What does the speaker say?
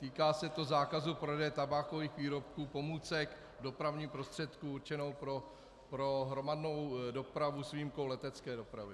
Týká se to zákazu prodeje tabákových výrobků, pomůcek, dopravních prostředků určenou pro hromadnou dopravu s výjimkou letecké dopravy.